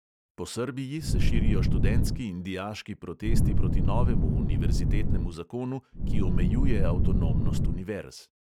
Po srbiji se širijo študentski in dijaški protesti proti novemu univerzitetnemu zakonu, ki omejuje avtonomnost univerz.